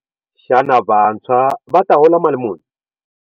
Xana vantshwa va ta hola mali muni?